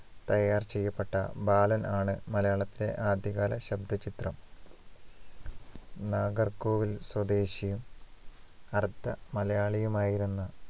തയ്യാർ ചെയ്യപ്പെട്ട ബാലനാണ് മലയാളത്തിലെ ആദ്യകാല ശബ്ദചിത്രം നാഗർകോവിൽ സ്വദേശിയും അർദ്ധ മലയാളിയുമായിരുന്ന